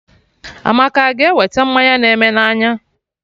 Amaka a ga-ewete mmanya na eme n'anya?